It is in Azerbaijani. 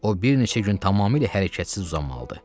O bir neçə gün tamamilə hərəkətsiz uzanmalıdır.